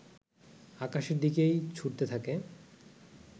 আকাশের দিকেই ছুঁড়তে থাকে